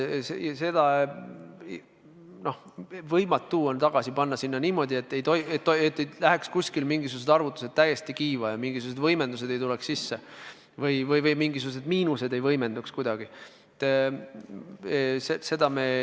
Seda kõike on võimatu tagasi rehkendada niimoodi, et mingisugused arvutused ei läheks täiesti kiiva, et mingisugused võimendused ei tuleks sisse, et mingisugused miinused ei võimenduks kuidagi.